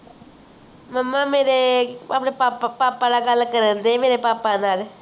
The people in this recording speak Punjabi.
mumma ਮੇਰੇ ਆਪਣੇ papa ਨਾਲ ਗੱਲ ਕਰਨਡੇ ਮੇਰੇ papa ਨਾਲ